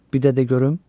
Bir də de görüm?